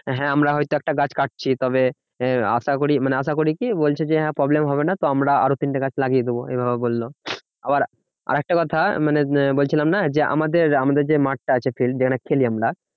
হ্যাঁ আমরা হয়তো একটা গাছ কাটছি তবে আশাকরি মানে আশাকরি কি বলছে হ্যাঁ problem হবে না। তো আমরা আরও তিনটে গাছ লাগিয়ে দেব এইভাবে বললো। আবার আরেকটা কথা মানে বলছিলাম না যে আমাদের আমাদের যে মাঠ টা আছে field যেখানে খেলি আমরা